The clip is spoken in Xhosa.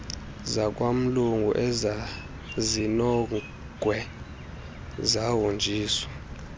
zakwamlungu ezazinongwe zahonjiswa